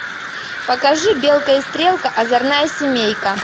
покажи белка и стрелка озорная семейка